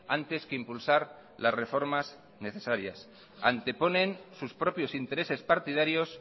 antes que impulsar las reformas necesarias anteponen sus propios intereses partidarios